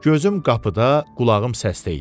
Gözüm qapıda, qulağım səsdə idi.